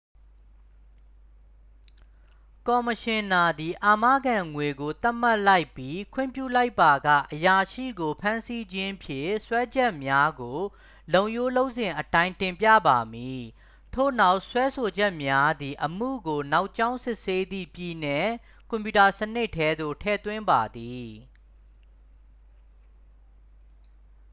ကော်မရှင်နာသည် အာမခံငွေကို သတ်မှတ်လိုက်ပြီး ခွင့်ပြုလိုက်ပါက အရာရှိကိုဖမ်းဆီးခြင်းဖြင့် စွဲချက်များကို လုပ်ရိုးလုပ်စဉ်အတိုင်း တင်ပြပါမည် ထို့နောက် စွဲဆိုချက်များသည် အမှုကိုနောက်ကြောင်းစစ်ဆေးသည့် ပြည်နယ်ကွန်ပြူတာစနစ်ထဲသို့ ထည့်သွင်းပါသည်